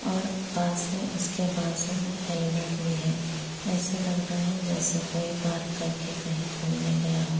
और पास में उसके बाजू में हेल्मेंट भी है और ऐसे लग रहा हैं जेसे कोई पार्क करके कहीं घुमने गया --